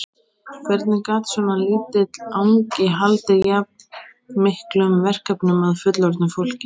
Hvernig gat svona lítill angi haldið jafn miklum verkefnum að fullorðnu fólki?